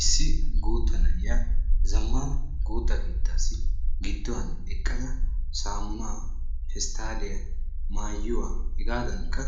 Issi gutta na'iyaa zammana gutta keettaasi gidduwan eqqada saamuna, pestalliya, maayuwaa, hegaadankka